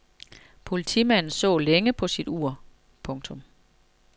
Politimanden så længe på sit ur. punktum